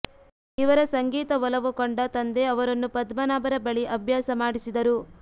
ಇವರ ಸಂಗೀತ ಒಲವು ಕಂಡ ತಂದೆ ಅವರನ್ನು ಪದ್ಮನಾಭರ ಬಳಿ ಅಬ್ಯಾಸ ಮಾಡಿಸಿದರು